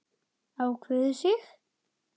Ákveðið sig?